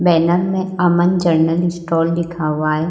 Banner में Aman general store लिखा हुआ है।